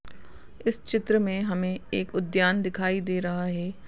इस चित्र में हमें एक उद्यान दिखाई दे रहा हे ।